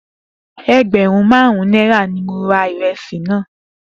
Egberun marun naira ni mo ra iresi naa.